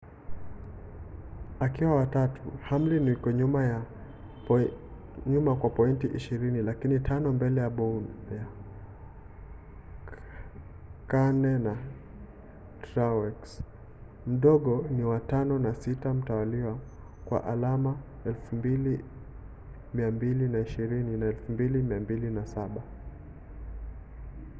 akiwa wa tatu hamlin yuko nyuma kwa pointi ishirini lakini tano mbele ya bowyer. kahne na truex mdogo ni wa tano na sita mtawalia kwa alama 2,220 na 2,207